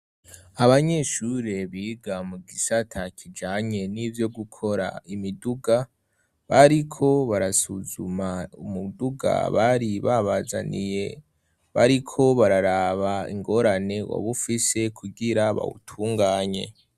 Abanyeshure biga mu gisata kijanye n'ivyo gukora imiduga, bariko barasuzuma umuduga bari babazaniye, bariko bararaba ingorane woba ufise kugira bawutunganye.